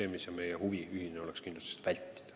Meie ühine huvi on kindlasti seda riski vältida.